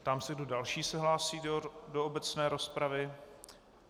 Ptám se, kdo další se hlásí do obecné rozpravy.